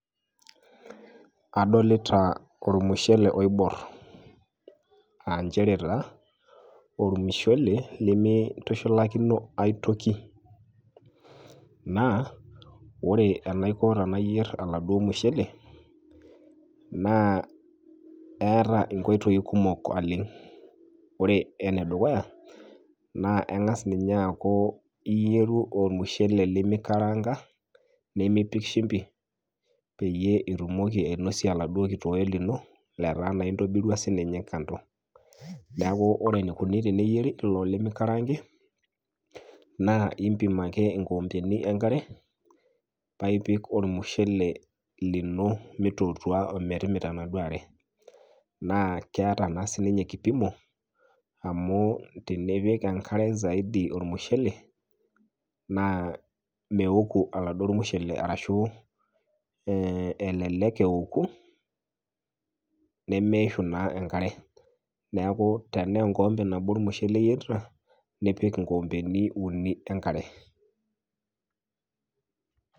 Adolita olmushele oibor. A nchere taa olmushele lemeitushulakino ae toki naa ore enaiko paayier oladuo mushele naa eeta inkoitoi kumok naleng'. Ore ene dukuya naa eng'as ninye aaku iyieru olmushele lemeikaranga limipik shumpi peyie ituoki ainosie oladuo kitoe lino letaa naa intobirwa sii ninye kando. Neaku ore eneikuni pee eyieri ilo lemeikarang'i, naa impim ake inkikombeni e nkare paa ipik olmushele lino meitukuta o metimita enaduo are. Naa keeta naa sii ninye kipimo ,amu tinipik enkare zaidi olmushele naa meoku oladuo mushele arashu elelek eoku nemeishu naa enkare. Neaku tenaa enkikombe nabo olmushele iyerita, nipik inkikombeni uni e nkare.